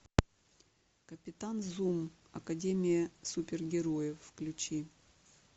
капитан зум академия супергероев включи